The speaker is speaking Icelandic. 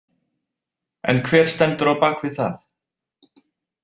En hver stendur á bak við það?